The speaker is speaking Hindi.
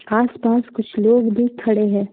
आसपास कुछ लोग भी खड़े हैं।